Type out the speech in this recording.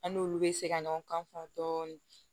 An n'olu bɛ se ka ɲɔgɔn kan fɔ dɔɔnin